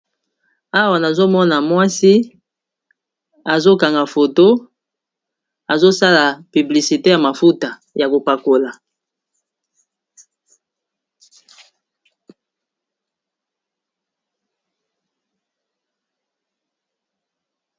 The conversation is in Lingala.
awa nazomona mwasi azokanga foto azosala piblisite ya mafuta ya kopakola